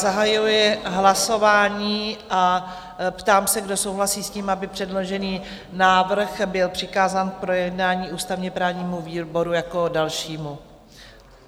Zahajuji hlasování a ptám se, kdo souhlasí s tím, aby předložený návrh byl přikázán k projednání ústavně-právnímu výboru jako dalšímu?